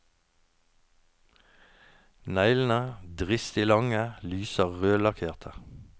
Neglene, dristig lange, lyser rødlakkerte.